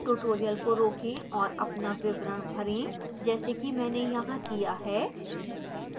tutorial को रोकें और अपना विवरण भरें जैसा कि मैंने यहां किया है